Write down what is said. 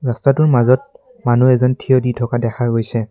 ৰাস্তাটোৰ মাজত মানুহ এজন থিয় দি থকা দেখা গৈছে।